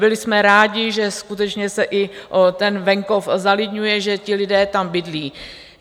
Byli jsme rádi, že skutečně se i ten venkov zalidňuje, že ti lidé tam bydlí.